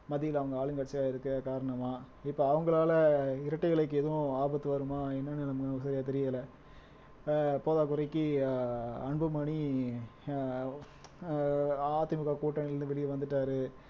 ஆளுங்கட்சியா இருக்க காரணமா இப்ப அவங்களால இரட்டை இலைக்கு எதுவும் ஆபத்து வருமா என்னன்னு நமக்கு சரியா தெரியல ஆஹ் போதாக்குறைக்கு ஆஹ் அன்புமணி ஆஹ் அதிமுக கூட்டணியில இருந்து வெளியே வந்துட்டாரு